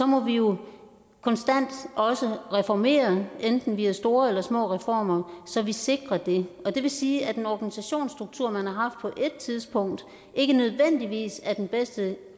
må vi jo også reformere enten via store eller små reformer så vi sikrer det og det vil sige at en organisationsstruktur som man har haft på et tidspunkt ikke nødvendigvis er den bedste